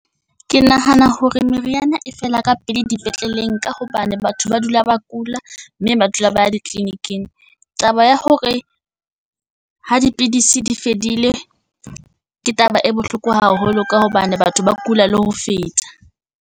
Ke nahana hore meriana e fela ka pele di petleleng, ka hobane batho ba dula ba kula mme ba dula ba ya di clinic-ing. Taba ya hore ho dipidisi di fedile ke taba e bohloko haholo ka hobane batho ba kula le ho feta.